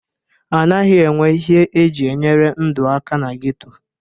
A naghị enwe ihe e ji enyere ndụ aka na geto.